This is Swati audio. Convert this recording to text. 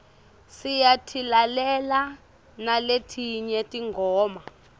siyatilalela naletinye tingoma